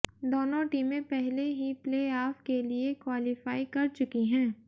दोनों टीमें पहले ही प्ले आफ के लिए क्वालीफाई कर चुकी हैं